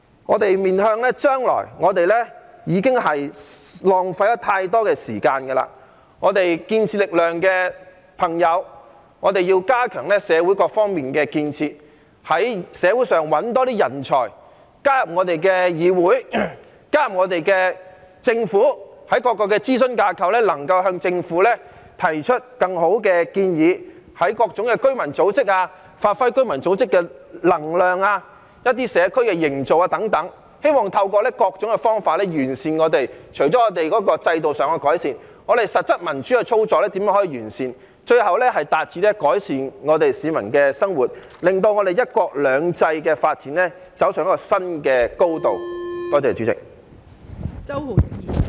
我們要面向將來，我們已浪費了太多時間，我們建設力量的朋友要加強社會各方面的建設，在社會上找更多人才，加入議會和政府，在各個諮詢架構向政府提出更好的建議，在各種居民組織中發揮能量，凝聚社區等，希望透過各種方法完善社會，除了制度上的改善，也完善我們的實質民主操作，最後達致改善市民的生活，令"一國兩制"的發展走上一個新的高度。